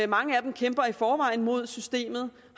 mange af dem kæmper i forvejen mod systemet